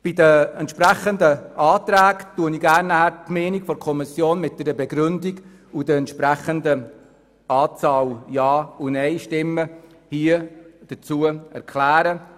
Bei den entsprechenden Anträgen werde ich jeweils gerne die Meinung der Kommission mit einer Begründung und der Anzahl der Ja- und Neinstimmen kundtun.